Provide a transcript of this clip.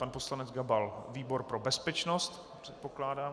Pan poslanec Gabal - výbor pro bezpečnost předpokládám.